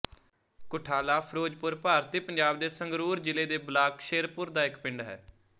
ਕੁਠਾਲਾਫਿਰੋਜਪੁਰ ਭਾਰਤੀ ਪੰਜਾਬ ਦੇ ਸੰਗਰੂਰ ਜ਼ਿਲ੍ਹੇ ਦੇ ਬਲਾਕ ਸ਼ੇਰਪੁਰ ਦਾ ਇੱਕ ਪਿੰਡ ਹੈ